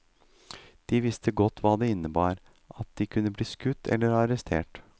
De visste godt hva det innebar, at de kunne bli skutt eller arrestert.